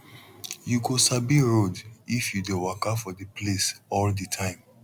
you go sabi road if you dey waka for the place all the time